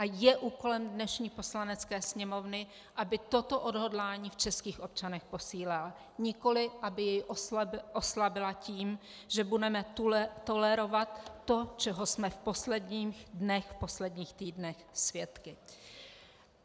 A je úkolem dnešní Poslanecké sněmovny, aby toto odhodlání v českých občanech posílila, nikoli aby jej oslabila tím, že budeme tolerovat to, čeho jsme v posledních dnech, v posledních týdnech svědky.